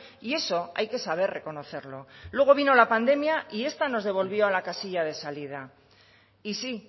y eso hay que saber reconocerlo luego vino la pandemia y esta nos devolvió a la casilla de salida y sí